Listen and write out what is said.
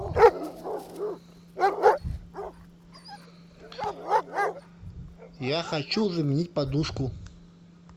я хочу заменить подушку